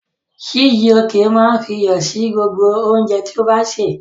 Chijioke máa ń fi iyọ̀ sí gbogbo oúnjẹ tí ó ń sè.